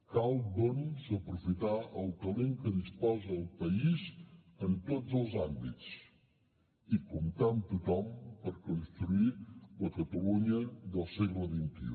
cal doncs aprofitar el talent de què disposa el país en tots els àmbits i comptar amb tothom per construir la catalunya del segle xxi